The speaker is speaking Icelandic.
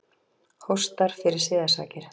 Hóstar fyrir siðasakir.